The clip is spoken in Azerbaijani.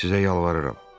Sizə yalvarıram.